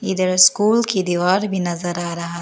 इधर स्कूल की दीवार भी नजर आ रहा है।